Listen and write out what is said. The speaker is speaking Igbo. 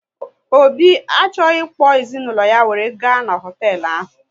Obi achọghị ịkpọ ezinaụlọ ya were gaa n'hotelu ahụ